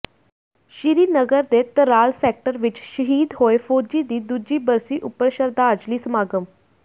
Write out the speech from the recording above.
ਸ੍ਰੀ ਨਗਰ ਦੇ ਤਰਾਲ ਸੈਕਟਰ ਵਿਚ ਸ਼ਹੀਦ ਹੋਏ ਫੌਜੀ ਦੀ ਦੂਜੀ ਬਰਸੀ ਉੱਪਰ ਸ਼ਰਧਾਜਲੀ ਸਮਾਗਮ